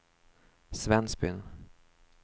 Svensbyn